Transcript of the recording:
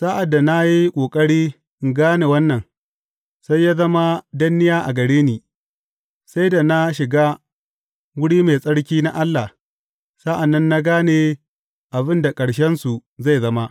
Sa’ad da na yi ƙoƙari in gane wannan, sai ya zama danniya a gare ni sai da na shiga wuri mai tsarki na Allah; sa’an nan na gane abin da ƙarshensu zai zama.